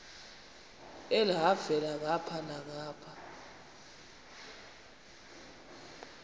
elhavela ngapha nangapha